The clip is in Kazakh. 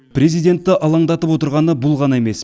президентті алаңдатып отырғаны бұл ғана емес